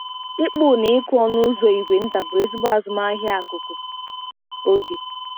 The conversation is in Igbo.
Ịkpụ na ịkụ ọnụ ụzọ ígwè nta bụ ezigbo azụmahịa akụkụ oge.